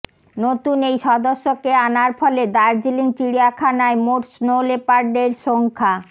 নতুন এই সদস্যকে আনার ফলে দার্জিলিং চিড়িয়াখানায় মোট স্নো লেপার্ডের সংখ্যা